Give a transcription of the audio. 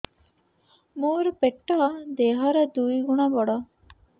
ମୋର ପେଟ ଦେହ ର ଦୁଇ ଗୁଣ ବଡ